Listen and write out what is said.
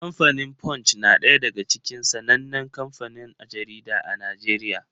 Kamfanin Punch na ɗaya daga cikin sanannen kanfanin jarida a Najeriya.